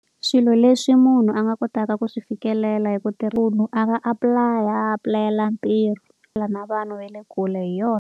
Swilo leswi munhu a nga kotaka ku swi fikelela hi ku munhu a nga apply-a a pulayela ntirho na vanhu va le kule hi yona.